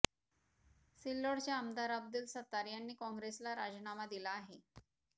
सिल्लोडचे आमदार अब्दुल सत्तार यांनी काँग्रेसला राजीनामा दिला आहे